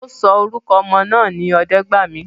Ọ́ sọ orúkọ ọmọ náà ní Ọdẹ́gbàmí